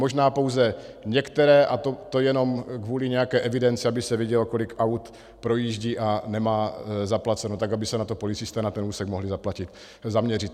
Možná pouze některé, a to jenom kvůli nějaké evidenci, aby se vědělo, kolik aut projíždí a nemá zaplaceno, tak aby se na to policisté na ten úsek mohli zaměřit.